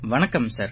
வணக்கம் சார்